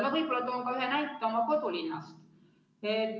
Ma võib-olla toon ka ühe näite oma kodulinnast.